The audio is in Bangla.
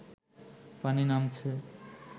পানি নামছে